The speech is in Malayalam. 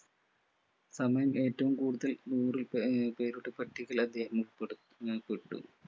ഏറ്റവും കൂടുതൽ നൂറിൽ പരം ആഹ് പേരുടെ പട്ടികയിൽ അദ്ദേഹം ഉൾപ്പെടു ആഹ് ഉൾപ്പെട്ടു